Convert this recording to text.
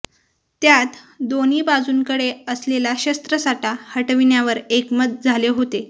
त्यात दोन्ही बाजूंकडे असलेला शस्त्रसाठा हटविण्यावर एकमत झाले होते